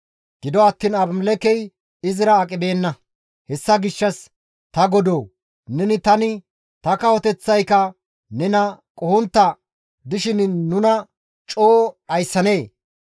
Gido attiin Abimelekkey izira aqibeenna; hessa gishshas, «Ta godoo! Neni, tani, ta kawoteththayka nena qohontta dishin nuna coo dhayssanee?